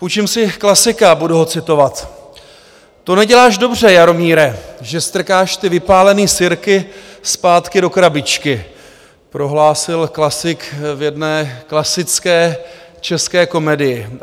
Půjčím si klasika, budu ho citovat: "To neděláš dobře, Jaromíre, že strkáš ty vypálený sirky zpátky do krabičky," prohlásil klasik v jedné klasické české komedii.